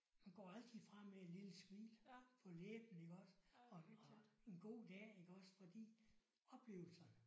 Man går altid fra med et lille smil på læben iggås og og en god dag iggås fordi oplevelserne